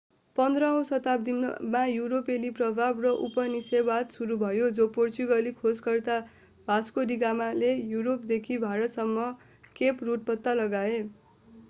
15औँ शताब्दीमा युरोपेली प्रभाव र उपनिवेशवाद सुरु भयो जब पोर्चुगाली खोजकर्ता भास्को डि गामाले युरोपदेखि भारतसम्म केप रुट पत्ता लगाए